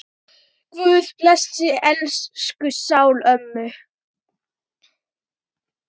Guð blessi sál elsku ömmu.